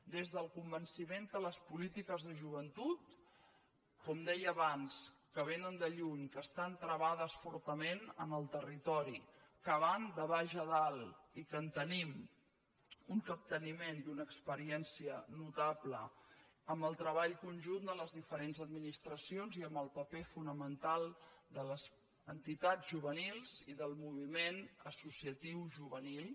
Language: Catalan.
des del convenciment que les polítiques de joventut com deia abans que vénen de lluny que estan travades fortament en el territori que van de baix a dalt i que en tenim un capteniment i una experiència notable amb el treball conjunt de les diferents administracions i amb el paper fonamental de les entitats juvenils i del moviment associatiu juvenil